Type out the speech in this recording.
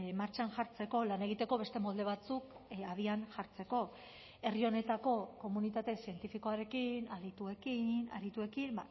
martxan jartzeko lan egiteko beste molde batzuk abian jartzeko herri honetako komunitate zientifikoarekin adituekin arituekin